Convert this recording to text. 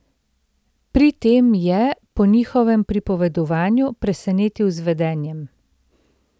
Pri tem je, po njihovem pripovedovanju, presenetil z vedenjem.